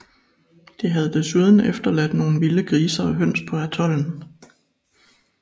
De havde desuden efterladt nogle vilde grise og høns på atollen